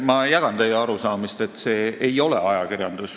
Ma jagan teie arusaamist, et see ei ole ajakirjandus.